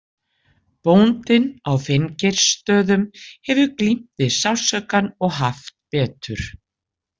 Bóndinn á Finngeirsstöðum hefur glímt við sársaukann og haft betur.